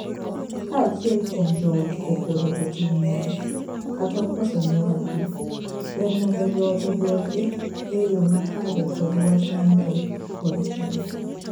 Ka achiel kuom joot opodho e tim moro kata okoso ne wadgi, ber mondo joot oduoke e yoo makare kod wach mamuol kod hera.